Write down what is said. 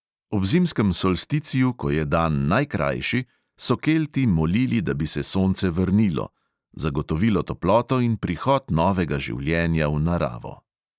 Ob zimskem solsticiju, ko je dan najkrajši, so kelti molili, da bi se sonce vrnilo, zagotovilo toploto in prihod novega življenja v naravo.